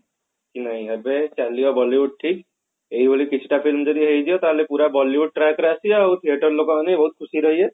ନାଇଁ ଏବେ ଚାଲିବ Bollywood ଠିକ ଏଇଭଳି କିଛିଟା film ଯଦି ହେଇଯିବ ତାହେଲେ ପୁରା Bollywood track ରେ ଆସିବ ଆଉ theater ଲୋକ ମାନେ ବି ବହୁତ ଖୁସିରେ ରହିବେ